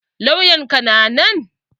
Lauyan ka na nan?